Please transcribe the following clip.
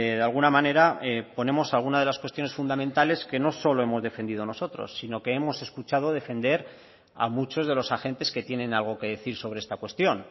de alguna manera ponemos alguna de las cuestiones fundamentales que no solo hemos defendido nosotros sino que hemos escuchado defender a muchos de los agentes que tienen algo que decir sobre esta cuestión